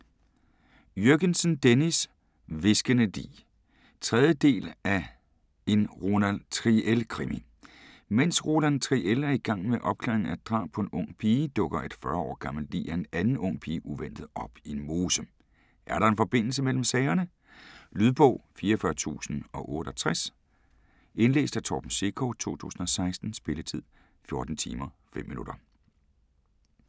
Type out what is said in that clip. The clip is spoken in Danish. Jürgensen, Dennis: Hviskende lig 3. del af En Roland Triel krimi. Mens Roland Triel er i gang med opklaringen af et drab på en ung pige, dukker et 40 år gammelt lig af en anden ung pige uventet op i en mose. Er der en forbindelse mellem sagerne? Lydbog 44068 Indlæst af Torben Sekov, 2016. Spilletid: 14 timer, 5 minutter.